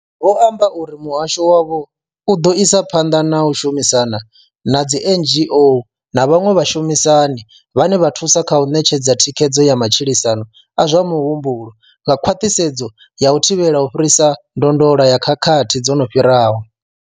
Vho amba uri muhasho wavho u ḓo isa phanḓa na u shumisana na dzi NGO na vhaṅwe vhashumisani vhane vha thusa kha u ṋetshedza thikhedzo ya matshilisano a zwa muhumbulo nga khwaṱhisedzo ya u thivhela u fhirisa ndondolo ya khakhathi dzo no fhiraho.